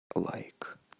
лайк